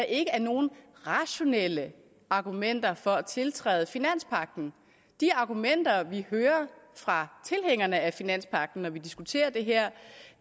ikke er nogen rationelle argumenter for at tiltræde finanspagten de argumenter vi hører fra tilhængerne af finanspagten når vi diskuterer det her